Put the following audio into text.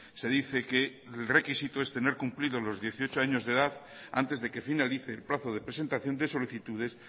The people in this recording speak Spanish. se dice que el requisito es tener cumplidos los dieciocho años de edad antes de que finalice el plazo de presentación de solicitudes